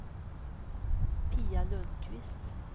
Pia Lundkvist